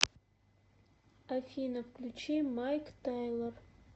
афина включи майк тайлор